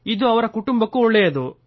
ಇದು ಅವರ ಕುಟುಂಬಕ್ಕೂ ಒಳ್ಳೆಯದು